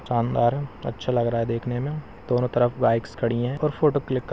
शानदार अच्छा लग रहा है देखने में दोनों तरफ बाइक्स खड़ी है और फोटो क्लिक --